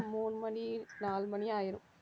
மூணு மணி நாலு மணி ஆயிரும்